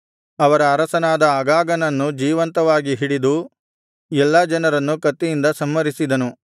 ಅವರ ಅರಸನಾದ ಅಗಾಗನನ್ನು ಜೀವಂತವಾಗಿ ಹಿಡಿದು ಎಲ್ಲಾ ಜನರನ್ನು ಕತ್ತಿಯಿಂದ ಸಂಹರಿಸಿದನು